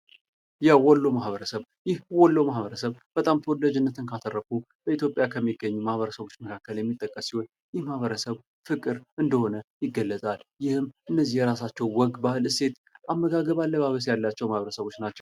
የወሎ ማህበረሰብ ይህ ወሎ ማህበረሰብ በጣም ተወዳጅነትን ካተረፉ በኢትዮጵያ ከሚገኙ ማህበረሰቦች መካከል የሚጠቀሱ ማህበረሰብ ፍቅር እንደሆነ ይገለጣል። ይህም እነዚህ የራሳቸው ወግ ባህል እሴት አመጋገብ አለባበስ ያላቸው ማህበረሰቦች ናቸው።